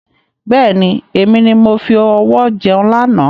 Bẹ́ẹ̀ni, èmi ni mo fi ọwọ jẹun lànà.